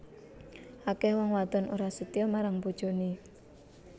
Akeh wong wadon ora setya marang bojone